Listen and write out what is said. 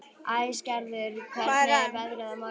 Æsgerður, hvernig er veðrið á morgun?